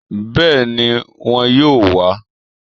Béèni won yóò wá